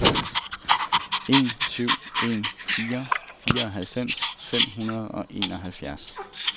en syv en fire fireoghalvfems fem hundrede og enoghalvfjerds